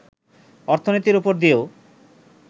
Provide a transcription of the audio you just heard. অর্থনীতির ওপর দিয়েও